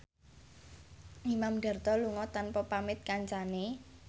Imam Darto lunga tanpa pamit kancane